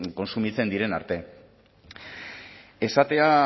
kontsumitzen diren arte esatea